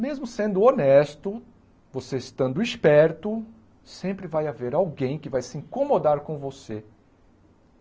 Mesmo sendo honesto, você estando esperto, sempre vai haver alguém que vai se incomodar com você.